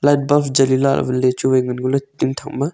lightbulb jali lah awanley chu wai ngan ngo ley tun thakma.